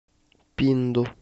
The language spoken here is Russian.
пинду